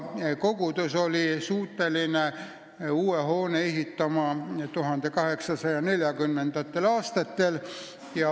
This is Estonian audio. Kogudus oli suuteline uue hoone ehitama 1840. aastatel.